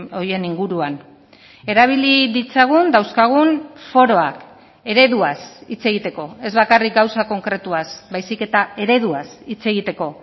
horien inguruan erabili ditzagun dauzkagun foroak ereduaz hitz egiteko ez bakarrik gauza konkretuaz baizik eta ereduaz hitz egiteko